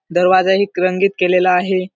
दरवाजा ही रंगीत केलेला आहे.